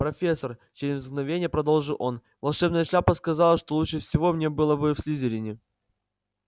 профессор через мгновение продолжил он волшебная шляпа сказала что лучше всего мне было бы в слизерине